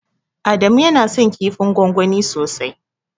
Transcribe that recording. Adamu yana son kifin gwangwani sosai.